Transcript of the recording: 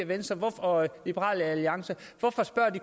venstre og liberal alliance